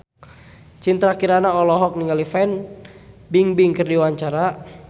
Citra Kirana olohok ningali Fan Bingbing keur diwawancara